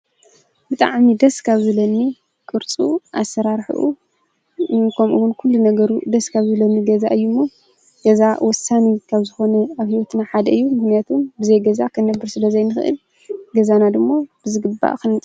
ብጣዕሚ ደስ ካብ ዝብለኒ ቅርፁ ኣሰራርሓኡ ከምኡውን ኩሉ ነገሩ ደስ ካብ ዝብለኒ ገዛ እዩሞ ገዛ ውሳኒ ከምዝኾኑ ኣብ ህይወትና ሓደ እዩ። ምኽንያቱ ብዘይ ገዛ ክነብር ስለዘይንኽእል ገዛና ድማ ብዝግባእ።